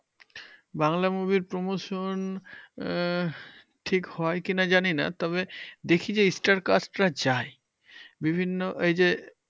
Bangla movie র promotion আহ ঠিক হয় কি না জানিনা, তবে দেখি যে star cast রা যায়। বিভিন্ন এই যে